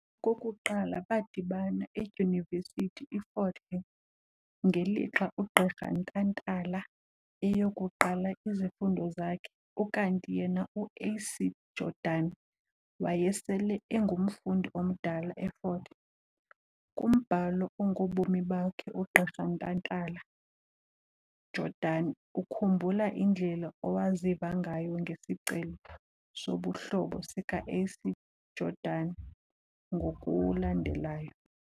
Okokuqala badibana edyunivesithi iFort Hare ngelixa uGqirha Ntantala eyokuqala izifundo zakhe, ukanti yena uA.C Jordan wayesele engumfundi omdala effort Hare. Kumbhalo ongobomi bakhe, ugqirha Ntantala-Jordan ukhumbula indlela owaziva ngayo ngesicelo sobuhlobo sika A.C Jordan ngokulandelayo.